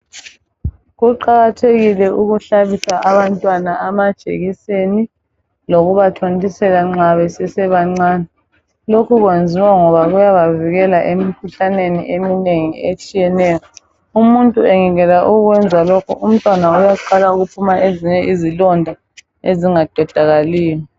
Kuqakathekile ukuhlabisa abantwana amajekiseni lokubathontiuisela nxa besesebancane lokhu kwenziwa ukubavikela emkhuhlaneni eminengi etshiyeneyo umuntu engekela ukwenza lokho umntwana abaqala ukuphuma izilonda ezingaqedakaliyo